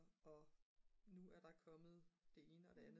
og nu er der kommet det ene og det andet